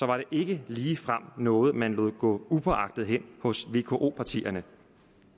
var det ikke ligefrem noget man lod gå upåagtet hen hos vko partierne